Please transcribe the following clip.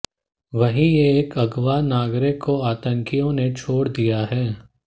वहीं एक अगवा नागरिक को आतंकियों ने छोड़ दिया है